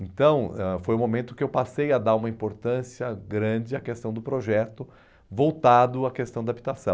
Então, ãh foi o momento que eu passei a dar uma importância grande à questão do projeto voltado à questão da habitação.